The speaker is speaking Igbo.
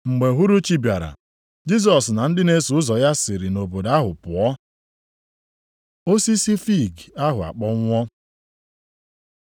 Mgbe uhuruchi bịara, Jisọs na ndị na-eso ụzọ ya siri nʼobodo ahụ pụọ. Osisi fiig ahụ a kpọnwụọ